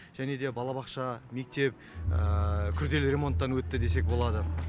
және де балабақша мектеп күрделі ремонттан өтті десек болады